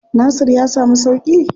Nasir ya samu sauƙi?